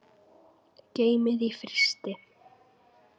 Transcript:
Geymið í frysti.